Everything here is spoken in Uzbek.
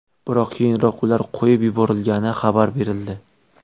Biroq keyinroq ular qo‘yib yuborilgani xabar berildi.